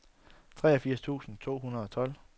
treogfirs tusind to hundrede og tolv